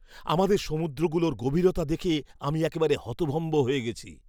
আমাদের সমুদ্রগুলোর গভীরতা দেখে আমি একেবারে হতভম্ব হয়ে গেছি!